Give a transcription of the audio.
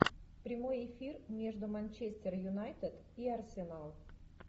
прямой эфир между манчестер юнайтед и арсенал